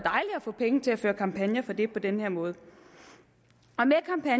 få penge til at føre kampagner for det på den her måde